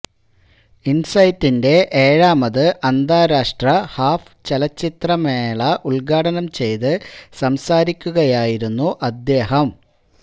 ഇന്സൈറ്റിന്റെ ഏഴാമത് അന്താരാഷ്ട്ര ഹാഫ് ചലച്ചിത്ര മേള ഉദ്ഘാടനം ചെയ്ത് സംസാരിക്കുകയായിരുന്നു അദ്ദേഹം